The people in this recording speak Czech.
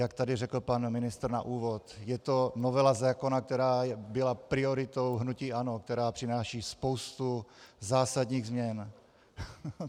Jak tady řekl pan ministr na úvod, je to novela zákona, která byla prioritou hnutí ANO, která přináší spoustu zásadních změn.